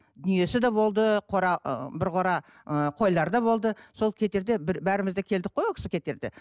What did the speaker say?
дүниесі де болды қора ы бір қора ыыы қойлары да болды сол кетерде бір бәріміз де келдік қой ол кісі кетерде